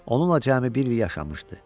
Onunla cəmi bir il yaşamışdı.